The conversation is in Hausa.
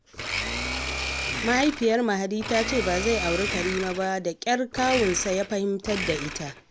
Mahaifiyar Mahadi ta ce ba zai auri Rahila ba, da ƙyar kawunsa ya fahimtar da ita